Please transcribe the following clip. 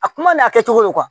A kuma n'a kɛcogo ye